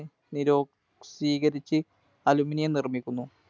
നിരോക്സീകരിച്ചു Aluminum നിർമ്മിക്കുന്നു.